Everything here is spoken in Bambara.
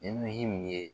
Ni himu ye